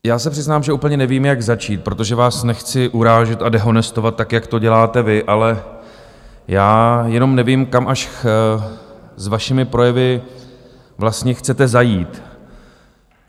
Já se přiznám, že úplně nevím, jak začít, protože vás nechci urážet a dehonestovat, tak jak to děláte vy, ale já jenom nevím, kam až se svými projevy vlastně chcete zajít.